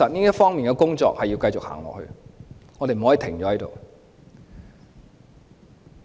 這方面的工作確實要繼續做，我們不可以停步。